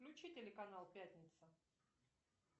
включи телеканал пятница